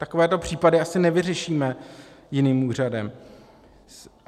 Takovéto případy asi nevyřešíme jiným úřadem.